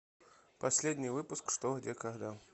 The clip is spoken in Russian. последний выпуск что где когда